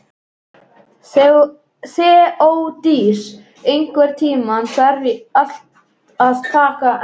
Þeódís, einhvern tímann þarf allt að taka enda.